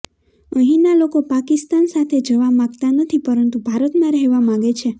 અહીંના લોકો પાકિસ્તાન સાથે જવા માગતા નથી પરંતુ ભારતમાં રહેવા માગે છે